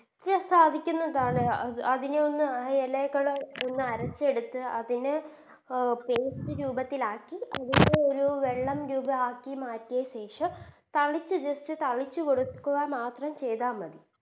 സാധിക്കുന്നതാണ് അത് അതിനെ ഒന്ന് ആ എലകളെ ഒന്ന് അരച്ചെടുത്ത് അതിനെ Paste രൂപത്തിലാക്കി അതിനെ ഒരു വെള്ളം രൂപം ആക്കി മാറ്റിയ ശേഷം തളിച്ച് Just തളിച്ച് കൊടുക്കുക മാത്രം ചെയ്ത മതി